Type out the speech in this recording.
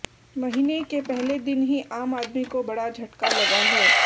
महीने के पहले दिन ही आम आदमी को बड़ा झटका लगा है